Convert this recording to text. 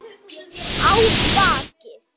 Á bakið.